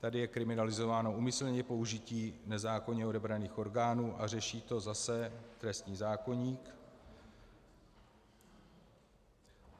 Tady je kriminalizováno úmyslné použití nezákonně odebraných orgánů a řeší to zase trestní zákoník.